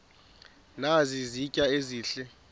nazi izitya ezihle